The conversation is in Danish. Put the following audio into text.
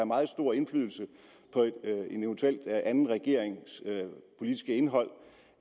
meget stor indflydelse på en eventuel anden regerings politiske indhold